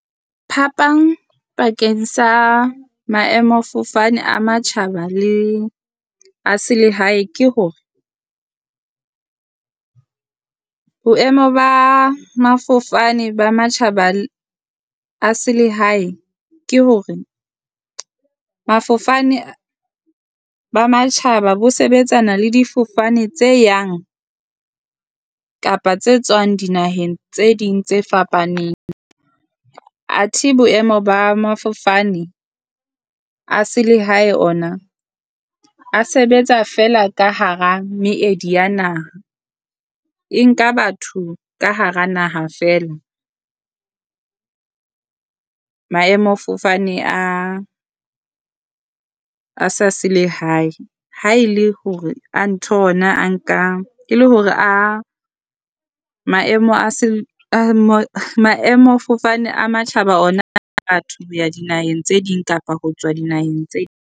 Phapang pakeng sa maemafofane a matjhaba le a selehae ke hore boemo ba mafofane ba matjhaba a selehae ke hore mafofane ba matjhaba bo sebetsana le difofane tse yang kapa tse tswang dinaheng tse ding tse fapaneng. Athe boemo ba mafofane a selehae ona a sebetsa feela ka hara meedi ya naha. E nka batho ka hara naha feela maemofofane a a sa selehae, ha e le hore a ntho ona a nka ke le hore a maemo a se maemofofane a matjhaba ona ho ya dinaheng tse ding kapa ho tswa dinaheng tse